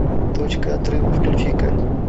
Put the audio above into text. точка отрыва включи ка